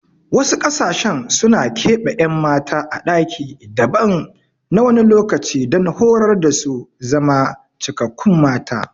Wasu ƙasashen suna keɓe ƴan mata a ɗaki daban na wani lokaci don horar dasu su zama cikakkun mata